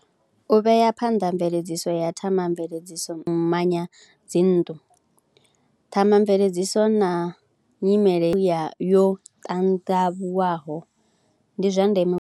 U vhea phanḓa mveledziso ya themamveledziso dzi nnḓu, themamveledziso na nyimele ya, yo ṱandavhuwaho ndi zwa ndeme.